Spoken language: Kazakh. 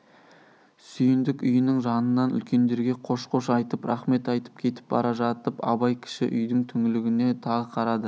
сүйіндік үйінің жанынан үлкендерге қош-қош айтып рақмет айтып кетіп бара жатып абай кіші үйдің түңлігіне тағы қарады